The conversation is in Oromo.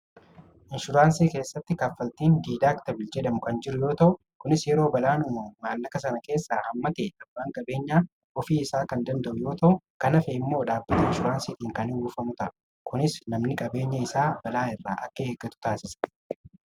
Inshuraansii keessatti kaffaltiin diidaaktabil jedhamu kan jiru yoo ta'u kunis yeroo balaan uumamu maallaqa sana keessaa hamma ta'e abbaan qabeenyaa ofii isaa kan danda'u yoo ta'u kan hafe immoo dhaabati inshuraansiitiin kan uwwifamu ta'a. Kunis namni qabeenya isaa balaa irraa akka eegatu taasisa.